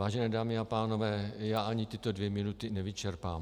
Vážené dámy a pánové, já ani tyto dvě minuty nevyčerpám.